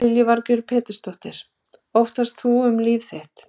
Lillý Valgerður Pétursdóttir: Óttaðist þú um líf þitt?